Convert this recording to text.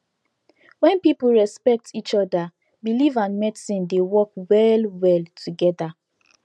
when people respect each other believe and medicine dey work well well together